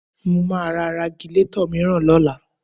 Mo máa ra Ragilatọ̀ mìíràn lọ́la